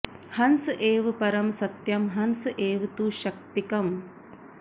हंस एव परं सत्यं हंस एव तु शक्तिकम्